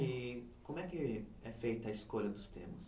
E como é que é feita a escolha dos temas?